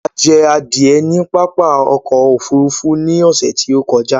A jẹ adìẹ ní pápá oko òfurufú ní ọ̀sẹ̀ tí ó kọjá.